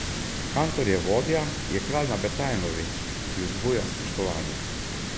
Kantor je vodja, je kralj na Betajnovi, ki vzbuja spoštovanje.